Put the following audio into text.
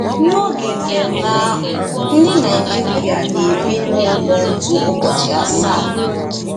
N'oge mmemme ahụ, ndị Nigeria na-ebi n'ụlọ ntu ụbọchị asaa.